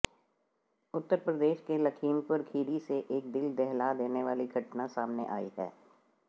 उत्तर प्रदेश के लखीमपुर खीरी से एक दिल दहला देने वाली घटना सामने आई है